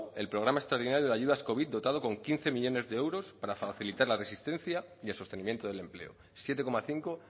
el programa extraordinario de ayudas covid dotado con quince millónes de euros para facilitar la resistencia y el sostenimiento del empleo siete coma cinco